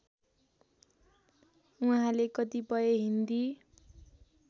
उहाँले कतिपय हिन्दी